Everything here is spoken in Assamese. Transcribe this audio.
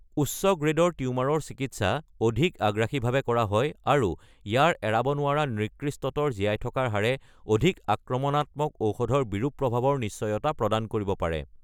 উচ্চ গ্ৰে'ডৰ টিউমাৰৰ চিকিৎসা অধিক আগ্ৰাসীভাৱে কৰা হয় আৰু ইয়াৰ এৰাব নোৱৰা নিকৃষ্টতৰ জীয়াই থকাৰ হাৰে অধিক আক্ৰমণাত্মক ঔষধৰ বিৰূপ প্ৰভাৱৰ নিশ্চয়তা প্ৰদান কৰিব পাৰে।